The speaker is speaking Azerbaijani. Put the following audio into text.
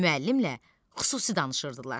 Müəllimlə xüsusi danışırdılar.